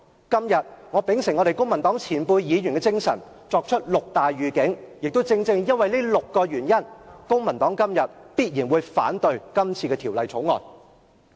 今天我秉承公民黨前輩議員的精神，作出六大預警，亦正正因為這6個原因，公民黨今天必然會反對《條例草案》。